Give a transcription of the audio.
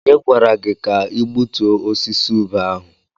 Onye gwara gị ka gbutuo osisi ube ahụ?